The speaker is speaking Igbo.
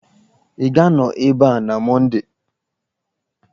Ị ga-anọ ebe a na Mọnde!